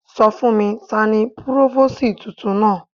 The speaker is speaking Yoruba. Sọ fún mi, tani Púrófósìì tuntun náà.